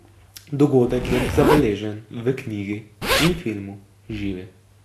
Dogodek je zabeležen v knjigi in filmu Živi.